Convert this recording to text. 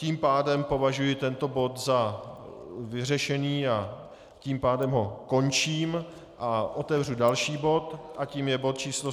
Tím pádem považuji tento bod za vyřešený a tím pádem ho končím a otevřu další bod a tím je bod číslo